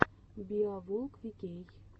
биоволквикей